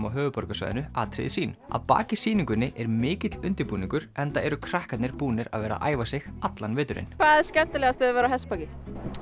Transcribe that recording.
á höfuðborgarsvæðinu atriði sín að baki sýningunni er mikill undirbúningur enda eru krakkarnir búnir að vera æfa sig allan veturinn hvað er skemmtilegast við að vera á hestbaki